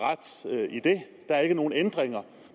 ret i det der er ikke nogen ændringer